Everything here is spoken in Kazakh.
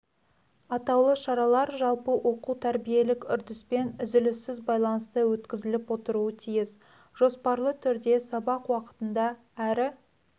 атаулы шаралар жалпы оқу-тәрбиелік үрдіспен үзіліссіз байланыста өткізіліп отыруы тиіс жоспарлы түрде сабақ уақытында әрі